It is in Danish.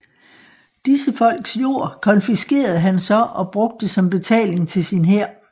Disse folks jord konfiskerede han så og brugte som betaling til sin hær